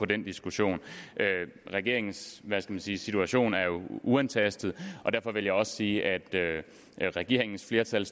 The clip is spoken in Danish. den diskussion regeringens hvad skal man sige situation er jo uantastet og derfor vil jeg også sige at regeringens flertal